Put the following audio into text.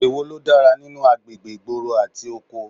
Èwo ló dára nínú agbègbè ìgboro àti oko?